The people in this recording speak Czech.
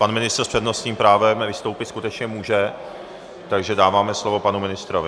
Pan ministr s přednostním právem vystoupit skutečně může, takže dáváme slovo panu ministrovi.